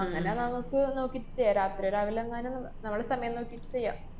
അങ്ങനെ നമുക്ക് നോക്കി ചേ~ രാത്രിയാ രാവിലെങ്ങാനും നമ്മ~ നമ്മള് സമയം നോക്കി ചെയ്യാം.